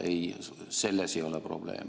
Ei, selles ei ole probleem.